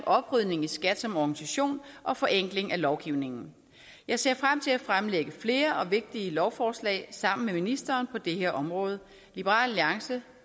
oprydning i skat som organisation og forenkling af lovgivningen jeg ser frem til at fremlægge flere og vigtige lovforslag sammen med ministeren på det her område liberal alliance